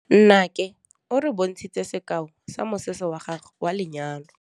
Nnake o re bontshitse sekaô sa mosese wa gagwe wa lenyalo.